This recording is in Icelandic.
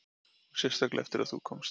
Og sérstaklega eftir að þú komst.